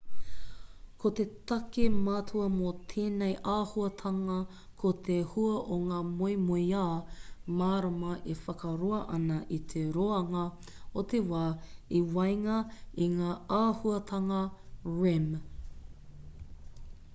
ko te take matua mō tēnei āhuatanga ko te hua o ngā moemoeā mārama e whakaroa ana i te roanga o te wā i waenga i ngā āhuatanga rem